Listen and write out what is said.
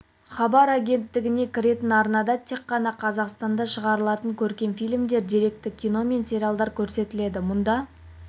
хабар агенттігіне кіретін арнада тек қана қазақстанда шығарылған көркем фильмдер деректі кино мен сериалдар көрсетіледі мұнда